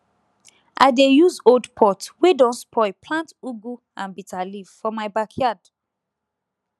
i dey use old pot wey don spoil plant ugu and bitterleaf for my backyard